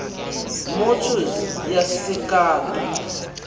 motors yase cato